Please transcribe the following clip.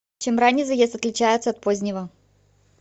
чем ранний заезд отличается от позднего